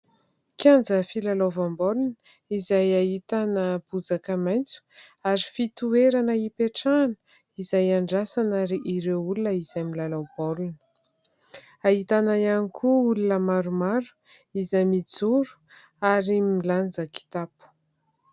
Kianja filalaovam-baolina izay ahitana bozaka maitso ary fitoerana ipetrahana izay iandrasana ireo olona izay milalao baolina. Ahitana ihany koa olona maromaro izay mijoro ary milanja kitapo.